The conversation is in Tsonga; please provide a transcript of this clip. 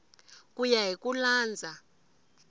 ku ya hi ku landza